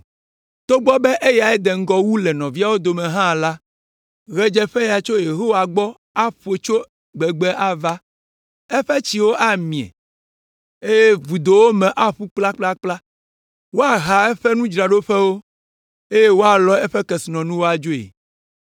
“Togbɔ be eyae de ŋgɔ wu le nɔviawo dome hã la, ɣedzeƒeya tso Yehowa gbɔ aƒo tso gbegbe ava. Eƒe tsiwo amie, eye vudowo me aƒu kplakplakpla. Woaha eƒe nudzraɖoƒewo, eye woalɔ eƒe kesinɔnuwo adzoe.